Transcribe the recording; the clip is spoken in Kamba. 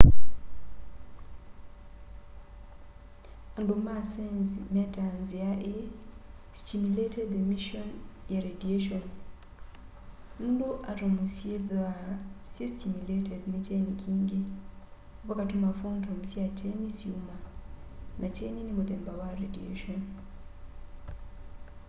andu ma saenzi metaa nzia ii stimulated emission ya radiation” nundu atomu syithwaa syi stimulated ni kyeni kingí vakatuma photon sya kyeni syuma na kyeni ni muthemba wa radiation